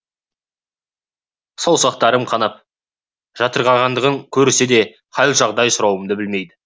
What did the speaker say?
саусақтарым қанап жатырғандығын көрсе де хал жағдай сұрауды білмейді